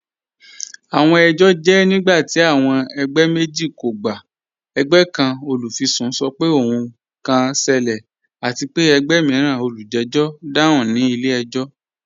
Awọn ẹjọ jẹ nigbati awọn ẹgbẹ meji kò gbà. Ẹ̀gbẹ̀ kan, olufisun, sọ̀ pẹ̀ ohun kan ṣẹlẹ̀, àti pe ẹ̀gbẹ̀ miiran, olùjẹ̀jọ̀, dáhùn ni ilẹ̀-ẹjọ̀."